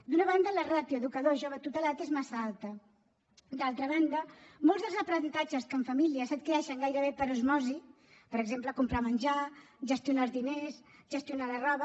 d’una banda la ràtio educador jove tutelat és massa alta d’altra banda molts dels aprenentatges que en família s’adquireixen gairebé per osmosi per exemple comprar menjar gestionar els diners gestionar la roba